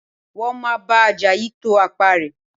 Wọ́n máa bá Àjàyí to apá rẹ̀